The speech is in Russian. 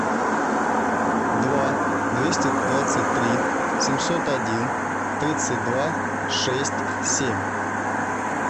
два двести двадцать три семьсот один тридцать два шесть семь